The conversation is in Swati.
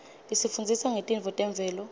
isifundzisa ngetintfo temvelo